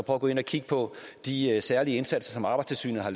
at gå ind og kigge på de særlige indsatser som arbejdstilsynet har